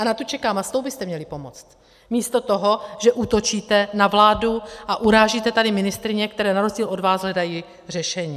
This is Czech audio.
A na tu čekám a s tou byste měli pomoct místo toho, že útočíte na vládu a urážíte tady ministryně, které na rozdíl od vás hledají řešení.